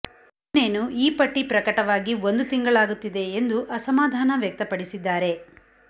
ಇನ್ನೇನು ಈ ಪಟ್ಟಿ ಪ್ರಕಟವಾಗಿ ಒಂದು ತಿಂಗಳಾಗುತ್ತಿದೆ ಎಂದು ಅಸಮಾಧಾನ ವ್ಯಕ್ತಪಡಿಸಿದ್ದಾರೆ